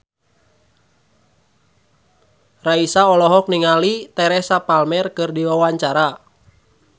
Raisa olohok ningali Teresa Palmer keur diwawancara